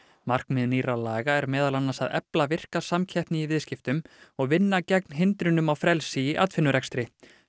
markmið nýrra laga er meðal annars að efla virka samkeppni í viðskiptum og vinna gegn hindrunum á frelsi í atvinnurekstri